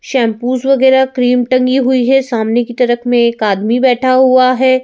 Shampoos वगैरह cream टंगी हुई है सामने की तरफ में एक आदमी बैठा हुआ है।